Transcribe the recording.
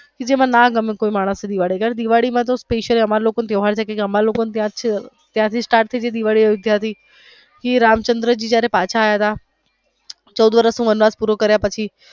જેને નો ગમે કોઈ માણસ ને નો ગમે અગર દિવાળી માં અમારે લોકો ને special અમારે લોકો ને તહેવાર છે અમારે લોકો ને ત્યાર થી start થઈ જાય જ્યાંથી રામચન્દ્ર જી પાછા આવ્યા તા ચૌદ વર્ષ નો વનવાસ પૂરો કાર્ય પછી.